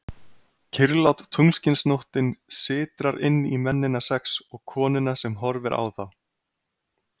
Kyrrlát tunglskinsnóttin sytrar inn í mennina sex og konuna sem horfir á þá.